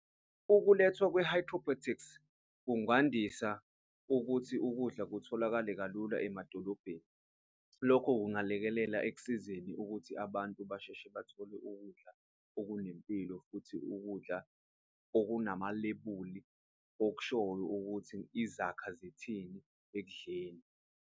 Ukulethwa kwe-hydropotics kungandisa ukuthi ukudla kutholakale kalula emadolobheni, lokho kungalekelela ekusizeni ukuthi abantu basheshe bathole ukudla okunempilo futhi ukudla okunamalebuli okushoyo ukuthi izakha zithini ekudleni.